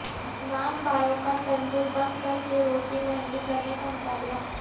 نان بائیوںکا تندور بند کرکے روٹی مہنگی کرنےکا مطالبہ